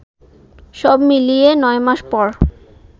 সব মিলিয়ে নয়মাস পর